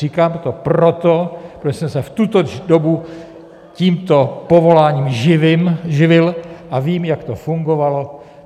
Říkám to proto, protože jsem se v tuto dobu tímto povoláním živil a vím, jak to fungovalo.